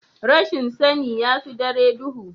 rashin sani ya fi dare duhu